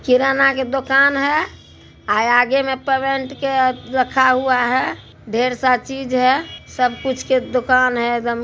किराना के दुकान है हाय आगे मे पेमेंट के रखा हुआ है ढेर सा चीज है सबकुछ के दुकान है एकदम ।